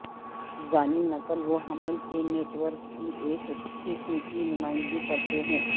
دانی نقل و حمل کے نیٹ ورک کی ایک قسم کی نمائندگی کرتے ہیں